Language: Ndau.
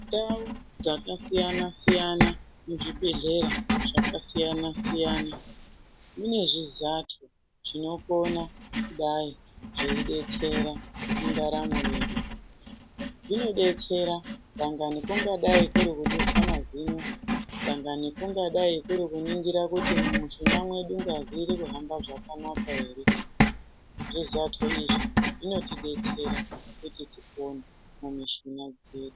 Ndau dzakasiyana-siyana muzvibhedhlera zvakasiyana-siyana inezvizato zvinokona kudai zveidetsera mundaramo yedu, zvinodetsera dai kungadai kuri kudusa mazino dangani kungadai kuri kuningira kuti mumishuna dzedu ngazi irikuhamba zvakanaka ere, zvizato izvi zvinotidetsera kuti tipone mumishuna dzedu.